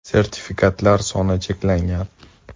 Sertifikatlar soni cheklangan.